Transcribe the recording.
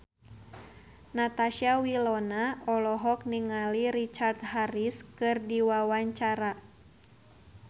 Natasha Wilona olohok ningali Richard Harris keur diwawancara